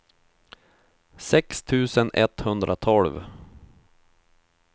sex tusen etthundratolv